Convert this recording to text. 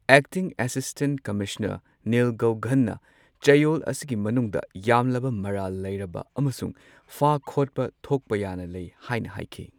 Acting assistant commissioner ꯅꯤꯜ ꯒꯧꯘꯟꯅ ꯆꯌꯣꯜ ꯑꯁꯤꯒꯤ ꯃꯅꯨꯡꯗ ꯌꯥꯝꯂꯕ ꯃꯔꯥꯜ ꯂꯩꯔꯕ ꯑꯃꯁꯨꯡ ꯐꯥ ꯈꯣꯠꯄ ꯊꯣꯛꯄ ꯌꯥꯅ ꯂꯩ ꯍꯥꯏꯅ ꯍꯥꯏꯈꯤ꯫